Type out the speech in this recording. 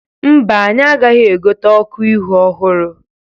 Mba, anyị agaghị egote ọkụ ihu ọhụrụ.